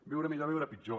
viure millor o viure pitjor